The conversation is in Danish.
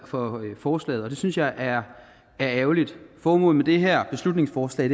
for forslaget og det synes jeg er ærgerligt formålet med det her beslutningsforslag